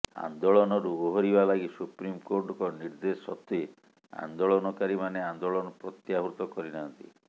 ଆନ୍ଦୋଳନରୁ ଓହରିବା ଲାଗି ସୁପ୍ରିମକୋର୍ଟଙ୍କ ନିର୍ଦ୍ଦେଶ ସତ୍ତ୍ବେ ଆନ୍ଦୋଳନକାରୀମାନେ ଆନ୍ଦୋଳନ ପ୍ରତ୍ୟାହୃତ କରିନାହାନ୍ତି